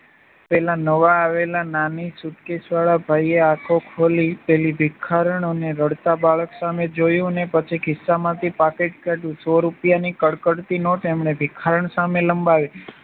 પેલા નવા આવેલા નાની સુટકેશ વાળા ભાઈએ આખો ખોલી પેલી ભિખારણૉ ને રડતા બાળક સામે જોયું અને પછી ખિસ્સામાંથી પાકીટ કાઢ્યું સો રૂપિયાની કડકડતી નોટ એમણે ભિખારણ સામે